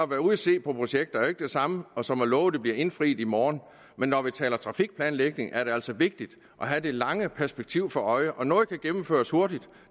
være ude at se på projekter er jo ikke det samme som at love det bliver indfriet i morgen når vi taler trafikplanlægning er det altså vigtigt at have det lange perspektiv for øje og noget kan gennemføres hurtigt